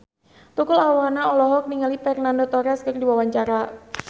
Tukul Arwana olohok ningali Fernando Torres keur diwawancara